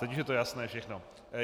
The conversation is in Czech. Teď už je to jasné všechno.